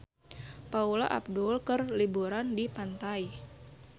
Paula Abdul keur liburan di pantai